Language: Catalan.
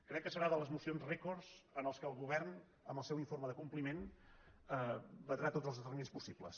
crec que serà de les mocions rècords en què el govern en el seu infor·me de compliment batrà tots terminis possibles